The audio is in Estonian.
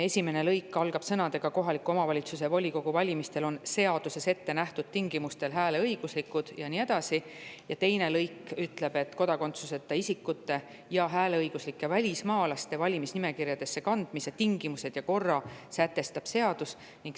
Esimene lõik algab sõnadega: "Kohaliku omavalitsuse volikogu valimistel on seaduses ettenähtud tingimustel hääleõiguslikud …" Teine lõik ütleb, et kodakondsuseta isikute ja hääleõiguslike välismaalaste valimisnimekirjadesse kandmise tingimused ja korra sätestab seadus.